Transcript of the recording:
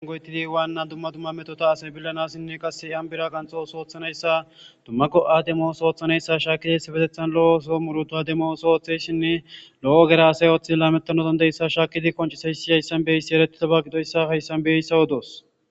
Angoytidi waanna dumma dumma metota asay billanassinne qase ambira qanxo sooththanayssa dumma go7ademos ooththanayssa shaakidiibetethan lo7o so muruto ademo oso ooththesshinne lo7o gera asay ooththid laamettanodandeyssa shaakidi qoncisayssi yayssan beyssi eretidaba gidoyssa hayssan beyssawodoos